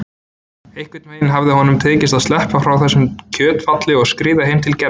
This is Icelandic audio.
Einhvern veginn hafði honum tekist að sleppa frá þessu kjötfjalli og skríða heim til Gerðar.